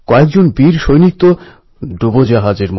কবি নীরজকে আন্তরিক শ্রদ্ধাঞ্জলি জানাই